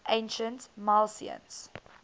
ancient milesians